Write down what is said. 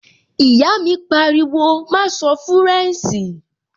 Ìyá mi pariwo, "má sọ fúrẹ̀nṣì!"